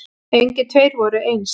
Engir tveir voru eins.